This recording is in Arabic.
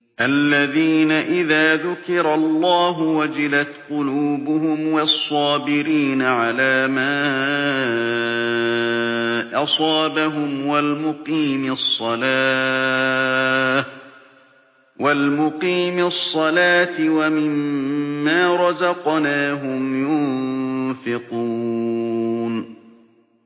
الَّذِينَ إِذَا ذُكِرَ اللَّهُ وَجِلَتْ قُلُوبُهُمْ وَالصَّابِرِينَ عَلَىٰ مَا أَصَابَهُمْ وَالْمُقِيمِي الصَّلَاةِ وَمِمَّا رَزَقْنَاهُمْ يُنفِقُونَ